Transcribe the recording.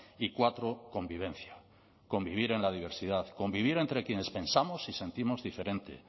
y cuatro convivencia convivir en la diversidad convivir entre quienes pensamos y sentimos diferente